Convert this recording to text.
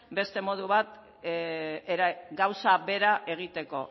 beste modu bat gauza bera egiteko